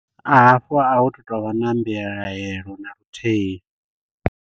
A hafho a hutu tovha na mbilahelo naluthihi.